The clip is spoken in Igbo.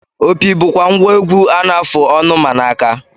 Opi bụkwa ngwa egwu a na-afụ ọnụ ma na aka